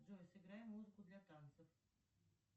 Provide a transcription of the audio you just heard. джой сыграй музыку для танцев